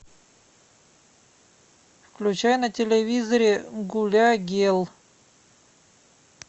включай на телевизоре гуля гел